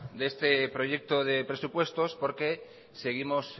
de este proyecto de presupuestos porque seguimos